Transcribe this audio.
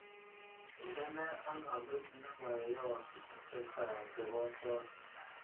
Indene albamit nemayoos chechang chebo choski